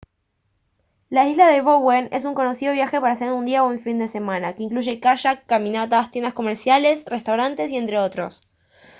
la isla de bowen es un conocido viaje para hacer en un día o en un fin de semana y que incluye kayak caminatas tiendas comerciales restaurantes y entre otros